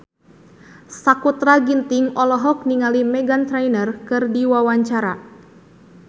Sakutra Ginting olohok ningali Meghan Trainor keur diwawancara